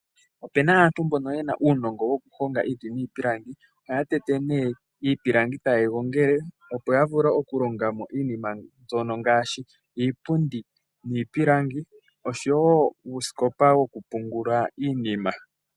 Ope na aantu mboka ye na uunongo wokuhonga iiti niipilangi. Ohaya tete nee ipilangi etaye yi gongele, opo ya vule okutholoma mo iinima ngaashi iipundi, iipilangi yokutungitha oshowo uusikopa wokupungula iinima.